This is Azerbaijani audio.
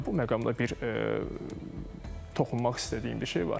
Bu məqamda bir toxunmaq istədiyim bir şey var.